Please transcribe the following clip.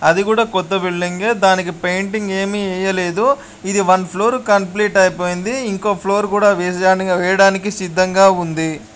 అది కూడా కొత్త బిల్డింగే దానికి పెయింటింగ్ ఏమి వేయలేదు ఇది వన్ ఫ్లోర్ కంప్లీట్ అయిపోయింది ఇంకో ఫ్లోర్ కూడా వేస్ దానికి వేయడానికి సిద్ధముగా ఉంది.